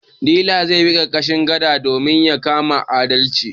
Dila zai bi ƙarƙashin gada domin ya kama alade.